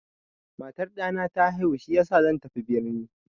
Matar ɗana ta haihu shiyasa zan tafi birni.